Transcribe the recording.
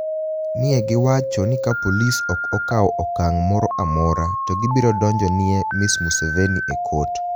ni e giwacho nii ka polis ok okawo okanig ' moro amora, to gibiro donijo ni e Ms. Msevenii e kot.